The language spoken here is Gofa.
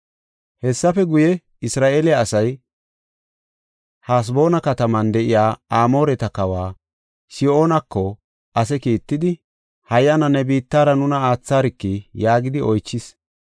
“Hessafe guye, Isra7eele asay Haseboona kataman de7iya Amooreta kawa Sihoonako ase kiittidi, ‘Hayyana, ne biittara nuna aatharki’ yaagidi oychis.